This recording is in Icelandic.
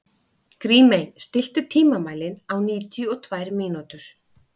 Grímey, stilltu tímamælinn á níutíu og tvær mínútur.